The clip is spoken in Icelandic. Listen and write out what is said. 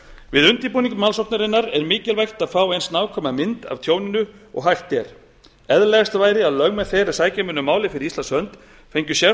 við undirbúning málsóknarinnar er mikilvægt að fá eins nákvæma mynd af tjóninu og hægt er eðlilegast væri að lögmenn þeir er sækja mundu málið fyrir íslands hönd fengju sérfræðinga